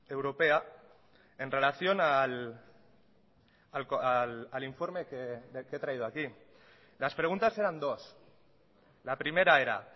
europea en relación al informe que he traído aquí las preguntas eran dos la primera era